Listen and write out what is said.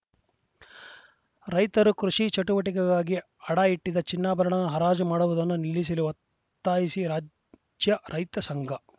ರೈತರು ಕೃಷಿ ಚಟುವಟಿಕೆಗಾಗಿ ಅಡ ಇಟ್ಟಿದ್ದ ಚಿನ್ನಾಭರಣ ಹರಾಜು ಮಾಡುವುದನ್ನು ನಿಲಿಸಲು ಒತ್ತಾಯಿಸಿ ರಾಜ್ಯ ರೈತ ಸಂಘ